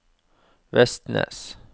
Vestnes